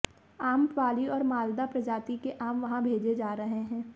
आम्रपाली और मालदा प्रजाति के आम वहां भेजे जा रहे हैं